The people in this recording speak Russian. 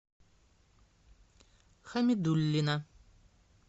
хамидуллина